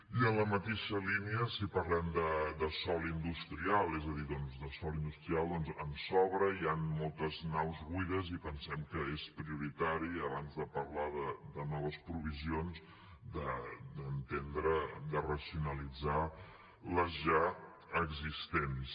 i en la mateixa línia si parlem de sòl industrial és a dir doncs de sòl industrial en sobra hi han moltes naus buides i pensem que és prioritari abans de parlar de noves provisions d’entendre de racionalitzar les ja existents